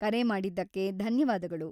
ಕರೆ ಮಾಡಿದ್ದಕ್ಕೆ ಧನ್ಯವಾದಗಳು.